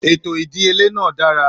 Ètò ìdíyelé náà dára.